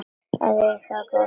Að eiga góða dóttur.